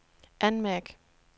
anmærk